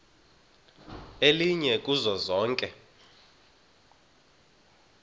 elinye kuzo zonke